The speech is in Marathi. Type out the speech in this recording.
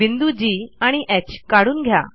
बिंदू जी आणि ह काढून घ्या